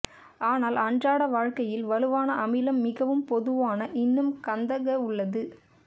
ஆனால் அன்றாட வாழ்க்கையில் வலுவான அமிலம் மிகவும் பொதுவான இன்னும் கந்தக உள்ளது